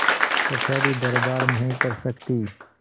कचहरीदरबार नहीं कर सकती